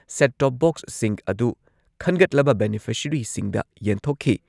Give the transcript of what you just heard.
Set top ꯕꯣꯛꯁꯤꯡ ꯑꯗꯨ ꯈꯟꯒꯠꯂꯕ ꯕꯦꯅꯤꯐꯤꯁꯔꯤꯁꯤꯡꯗ ꯌꯦꯟꯊꯣꯛꯈꯤ ꯫